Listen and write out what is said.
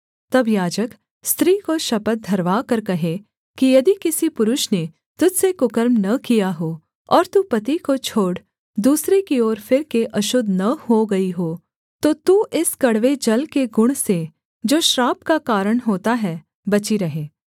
तब याजक स्त्री को शपथ धरवाकर कहे कि यदि किसी पुरुष ने तुझ से कुकर्म न किया हो और तू पति को छोड़ दूसरे की ओर फिरके अशुद्ध न हो गई हो तो तू इस कड़वे जल के गुण से जो श्राप का कारण होता है बची रहे